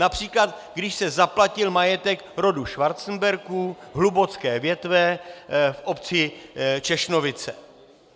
Například když se zaplatil majetek rodu Schwarzenbergů hlubocké větve v obci Češnovice.